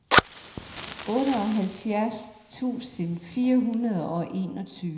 otteoghalvfjerds tusind fire hundrede og enogtyve